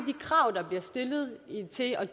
flere